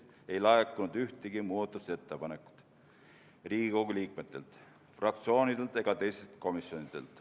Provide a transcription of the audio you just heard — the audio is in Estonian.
Riigikogu liikmetelt, fraktsioonidelt ega teistelt komisjonidelt ei laekunud ühtegi muudatusettepanekut.